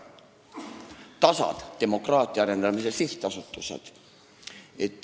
Meenutan ka DASA-sid, demokraatia arendamise sihtasutusi.